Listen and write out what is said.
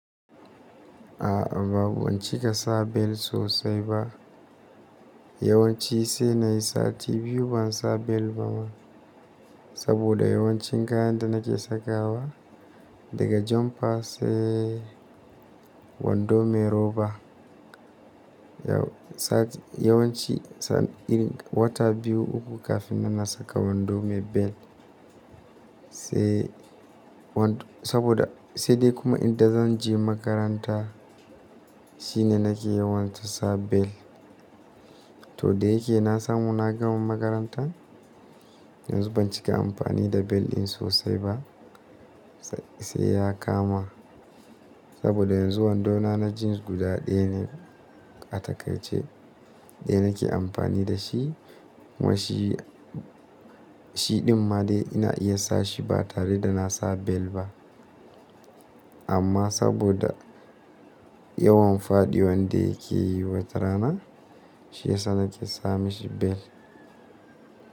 A'a banwanci kasa bel sosai ba. Yawanci sai na yi sati biyu ban sa bel ba ma. Saboda yawancin kayan da nake sakawa daga jumpa sai wando mai roba, yawan ci wata biyu uku kafin na saka wando mai bel. Se saboda sai dai kuma idan zan je makaranta shine nake yawanci sa bel. To da yake na samu na gama makaranta yanzu ban cika amfani da bel din sosai ba. Sai ya kama saboda yanzu wandona na jeans guda ɗaya ne a takai ce ɗaya nake amfani da shi. Wai shi shi ɗin ma dai ina iya sa shi ba tare da na sa bel ba. Amma saboda, ya wan faɗiwan da yake yi wata rana shi ya sa nake sami shi bel.